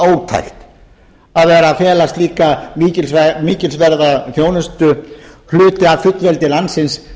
ótækt að vera að fela slíka mikilsverða þjónustu hluti af fullveldi landsins